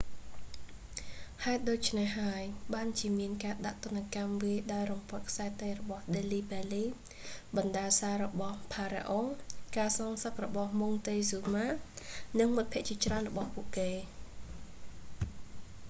ហេតុដូច្នេះហើយ បានជាមានការដាក់ទណ្ឌកម្មវាយដោយរំពាត់ខ្សែតីរបស់ delhi belly ដេលីបេលី បណ្តាសារបស់ស្តេច pharaoh ផារ៉ាអុង ការសងសឹករបស់ montezuma ម៉ុងតេហ្ស៊ូម៉ា និងមិត្តភក្តិជាច្រើនរបស់ពួកគេ